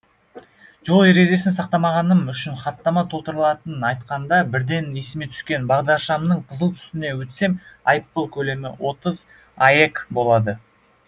жол ережесін сақтамағаным үшін хаттама толтыратынын айтқанда бірден есіме түскені бағдаршамның қызыл түсіне өтсем айыпбұл көлемі отыз аек болады